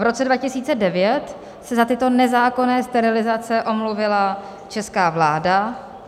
V roce 2009 se za tyto nezákonné sterilizace omluvila česká vláda.